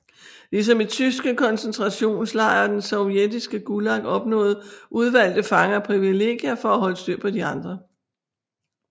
Ligesom i tyske koncentrationslejre og det sovjetiske Gulag opnåede udvalgte fanger privilegier for at holde styr på de andre